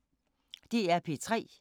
DR P3